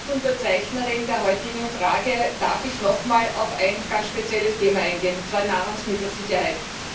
Als Mitunterzeichnerin der heutigen Frage darf ich noch einmal auf ein ganz spezielles Thema eingehen, und zwar Nahrungsmittelsicherheit.